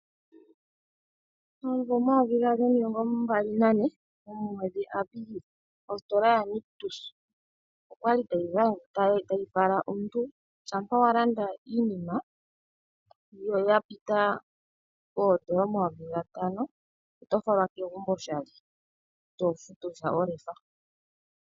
Momuvo 2024 omwedhi Apilili ositola yaNictus oyali tayi fala omuntu shampa wa landa iinima yapita N$5000 oto falwa pegumbo oshali itofutu sha olefa.